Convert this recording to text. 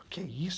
O que é isso?